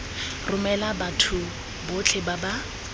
romela batho botlhe ba ba